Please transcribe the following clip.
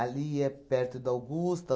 é perto da Augusta.